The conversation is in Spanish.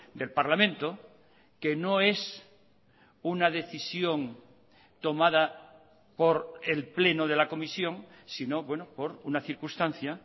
del parlamento que no es una decisión tomada por el pleno de la comisión sino por una circunstancia